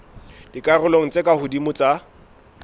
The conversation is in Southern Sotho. dikarolong tse ka hodimo tsa